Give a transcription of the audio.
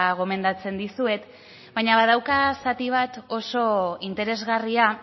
gomendatzen dizuet baina badauka zati bat oso interesgarria